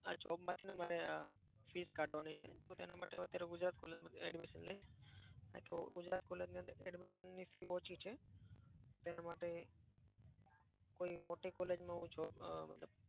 આ job માંથી ને મારે આહ fees કાઢવાની છે. તો તેના માટે હું અત્યારે ગુજરાત college માં જ admission લઈશ. કારણ કે ગુજરાત college ની અંદર admission ની fee ઓછી છે. તેના માટે કોઈ મોટી college માં હું job મતલબ